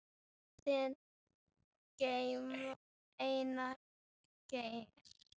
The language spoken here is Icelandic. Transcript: Þinn, Einar Geir.